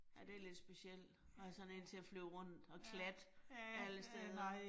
Ja, det lidt specielt at have sådan én til at flyve rundt og klatte alle steder